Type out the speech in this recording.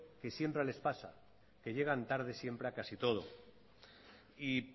que siempre les pasa que llegan tarde siempre a casi todo y